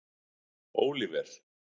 Óliver